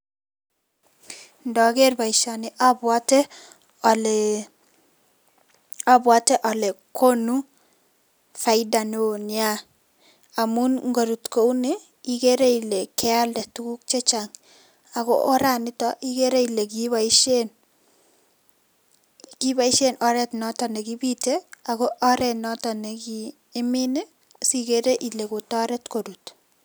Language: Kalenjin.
Indoker boisioni obwote ole ,obwote ole konu faida neo nia amun inkorut kouni ikere ile keelda tuguk chechang ako oranito ikere ile kiiboisien oret noton nekibite ako oret nekiimin si.kere ile kotoret korut